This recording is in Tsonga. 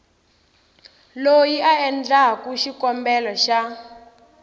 loyi a endlaku xikombelo xa